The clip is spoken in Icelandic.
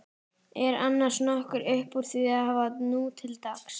Er annars nokkuð uppúr því að hafa nútildags?